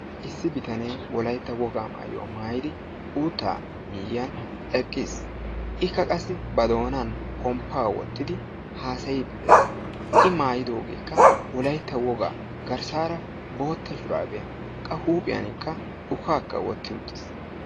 Issi bitanee wolaytta wogaa maayuwa maayidi uuttaa miyyiyan eqqis. Ikka qassi ba doonan pomppaa wottidi haasayiiddi de"es. I maayidoogeekka wolaytta wogaa garssaara bootta shuraabiya qassi huuphiyanikka ukaakka wotti uttis.